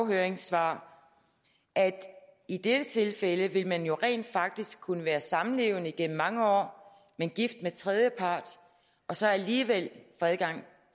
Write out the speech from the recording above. høringssvar at i dette tilfælde vil man rent faktisk kunne være samlevende igennem mange år men gift med en tredjepart og så alligevel få adgang